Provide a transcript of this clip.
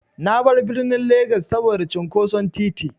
Na bar birnin Legas saboda cunƙoson titi.